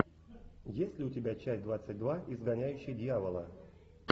есть ли у тебя часть двадцать два изгоняющий дьявола